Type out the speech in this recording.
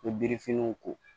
N bɛ birifiniw ko